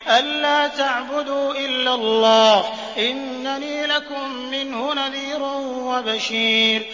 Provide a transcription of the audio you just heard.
أَلَّا تَعْبُدُوا إِلَّا اللَّهَ ۚ إِنَّنِي لَكُم مِّنْهُ نَذِيرٌ وَبَشِيرٌ